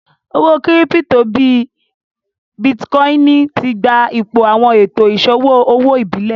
Owó kírípítò bíì Bitkòinì tí gbà ìpò awọn ètò iṣọwọ ọwọ ìbílé